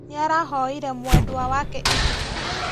Nĩarahoire mwendwa wake ibuku